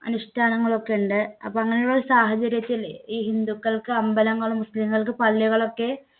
അനുഷ്ഠാനങ്ങളും ഒക്കെയുണ്ട്. അപ്പൊ അങ്ങനെയുള്ള ഒരു സാഹചര്യത്തില് ഈ ഹിന്ദുക്കൾക്ക് അമ്പലങ്ങളും മുസ്ലീങ്ങൾക്ക് പള്ളികളും ഒക്കെ